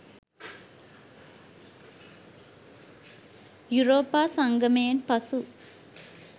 යුරෝපා සංගමයෙන් පසු